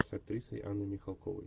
с актрисой анной михалковой